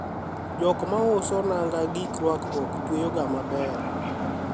jok mauso naga gik rwakruok tweyoga maber